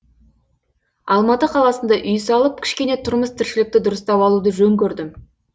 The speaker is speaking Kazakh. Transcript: алматы қаласында үй салып кішкене тұрмыс тіршілікті дұрыстап алуды жөн көрдім